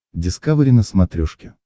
дискавери на смотрешке